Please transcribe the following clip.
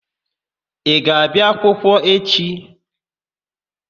Ị ga-abịa akwụkwọ echi?